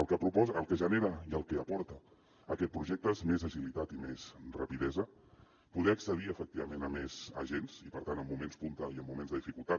el que genera i el que aporta aquest projecte és més agilitat i més rapidesa poder accedir efectivament a més agents i per tant en moments punta i en moments de dificultat